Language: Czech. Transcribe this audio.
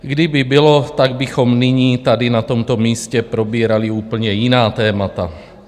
Kdyby bylo, tak bychom nyní tady na tomto místě probírali úplně jiná témata.